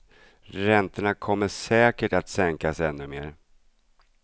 Räntorna kommer säkert att sänkas ännu mer.